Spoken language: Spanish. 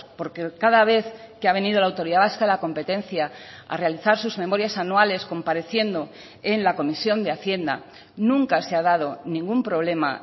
porque cada vez que ha venido la autoridad vasca de la competencia a realizar sus memorias anuales compareciendo en la comisión de hacienda nunca se ha dado ningún problema